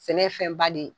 Sɛnɛ ye fɛnba de ye